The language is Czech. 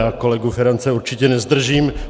Já kolegu Ferance určitě nezdržím.